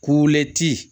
Kule ti